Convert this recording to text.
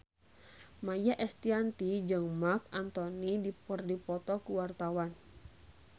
Maia Estianty jeung Marc Anthony keur dipoto ku wartawan